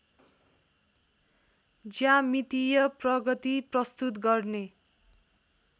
ज्यामितीय प्रगति प्रस्तुत गर्ने